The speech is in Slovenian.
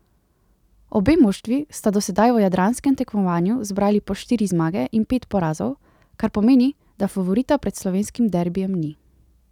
Obe moštvi sta do sedaj v jadranskem tekmovanju zbrali po štiri zmage in pet porazov, kar pomeni, da favorita pred slovenskim derbijem ni.